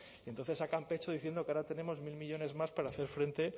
y entonces sacan pecho diciendo que ahora tenemos mil millónes más para hacer frente